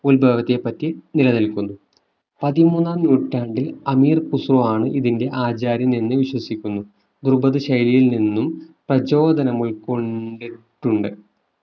ഉത്ഭവത്തെപ്പറ്റി നിലനിൽക്കുന്നു പതിമൂന്നാം നൂറ്റാണ്ടിൽ അമീർ ഖുസ്രു ആണ് ഇതിന്റെ ആചാര്യൻ എന്ന് വിശ്വസിക്കുന്നു ദ്രുപത് ശൈലിയിൽ നിന്നും പ്രചോദനം ഉൾക്കൊണ്ട് ട്ടുണ്ട്